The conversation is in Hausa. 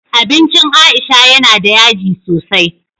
Abincin aisha yana da yaji sosai